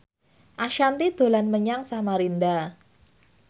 Ashanti dolan menyang Samarinda